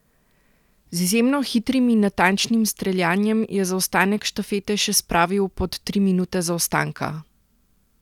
Z izjemno hitrim in natančnim streljanjem je zaostanek štafete še spravil pod tri minute zaostanka.